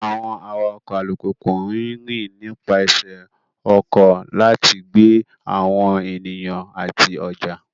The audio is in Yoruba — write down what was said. Àwọn awakọ̀ alùpùpù ń rìn nípasẹ̀ ọkọ̀ láti gbé àwọn ènìyàn àti ọjà.